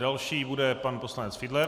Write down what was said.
Další bude pan poslanec Fiedler.